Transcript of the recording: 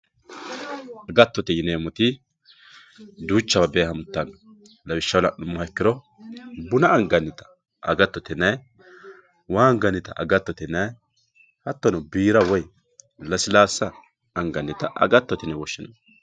Agatote yinremotti duuchawa beehantano lawishaho laniha ikkiro buna anganitta agatote yinayi waa anganita agattotte yinayi hatono biira woyi lasilasa anganita agatote yine woshinayi